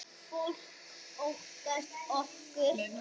Fólk óttast okkur.